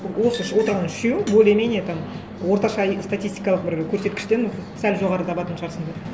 осы отырған үшеуің более менее там орташа статистикалық бір көрсеткіштен сәл жоғары табатын шығарсыңдар